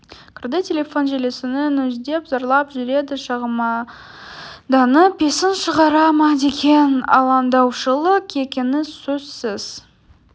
кірді телефон желісін үздідеп зарлап жүреді шағымданып есін шығара ма деген алаңдаушылық екені сөзсіз